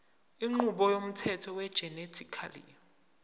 inqubo yomthetho wegenetically